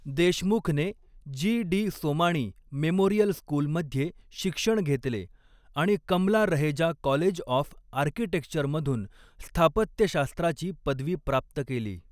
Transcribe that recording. देशमुखने G. D. Somani memorial स्कूलमध्ये शिक्षण घेतले आणि कमला रहेजा कॉलेज ऑफ आर्किटेक्चरमधून स्थापत्यशास्त्राची पदवी प्राप्त केली.